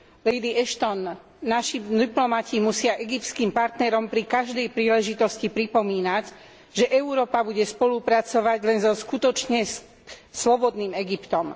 Lady Ashton, naši diplomati musia egyptským partnerom pri každej príležitosti pripomínať, že Európa bude spolupracovať len so skutočne slobodným Egyptom.